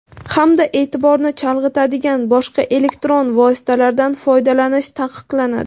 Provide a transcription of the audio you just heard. hamda eʼtiborni chalg‘itadigan boshqa elektron vositalardan foydalanish taqiqlanadi.